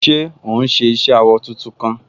Ṣé òún ṣe iṣẹ awọ tuntun kan?